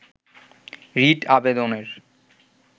writ আবেদনের